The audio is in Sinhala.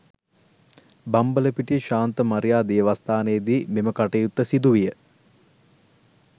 බම්බලපිටිය ශාන්ත මරියා දේවස්ථානයේදී මෙම කටයුත්ත සිදු විය